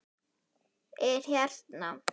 Er hérna.